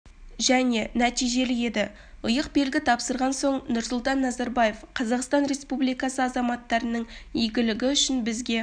және нәтижелі еді иық белгі тапсырған соң нұрсұлтан назарбаев қазақстан республикасы азаматтарының игілігі үшін бізге